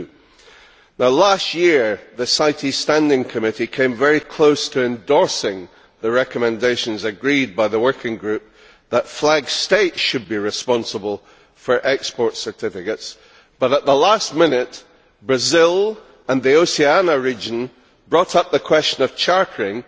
2. Last year the CITES Standing Committee came very close to endorsing the recommendations agreed by the working group that flag states should be responsible for export certificates, but at the last minute Brazil and the Oceania region brought up the question of chartering